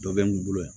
Dɔ bɛ n kun yan